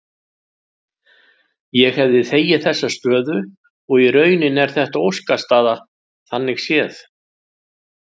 Ég hefði þegið þessa stöðu og í rauninni er þetta óskastaða þannig séð.